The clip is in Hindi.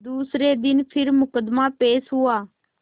दूसरे दिन फिर मुकदमा पेश हुआ